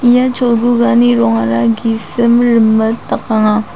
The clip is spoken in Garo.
ia cholgugani rongara gisim rimit dakanga.